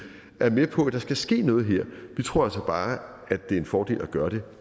er med på at der skal ske noget her vi tror altså bare det er en fordel at gøre det